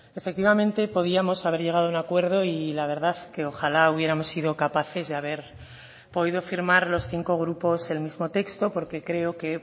efectivamente podíamos haber llegado a un acuerdo y la verdad que ojalá hubiéramos sido capaces de haber podido firmar los cinco grupos el mismo texto porque creo que